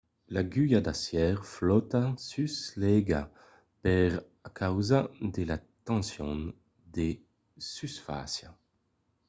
l'agulha d'acièr flòta sus l'aiga per encausa de la tension de susfàcia